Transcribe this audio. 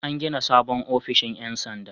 An gina sabon ofishin 'yan sanda.